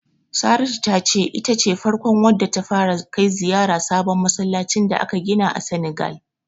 Saratu ta ce ita ce farkon wadda ta fara kai ziyarar sabon masallacin da aka gina a Senegal.